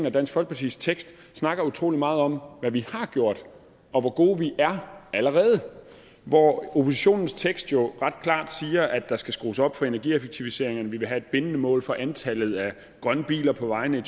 og dansk folkepartis tekst snakker utrolig meget om hvad vi har gjort og hvor gode vi er allerede hvor oppositionens tekst jo klart siger at der skal skrues op for energieffektiviseringerne vi vil have et bindende mål for antallet af grønne biler på vejene i